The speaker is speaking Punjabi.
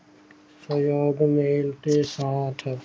ਸਵੇਰ ਤੋਂ ਮਿਲ ਕੇ ਸਾਥ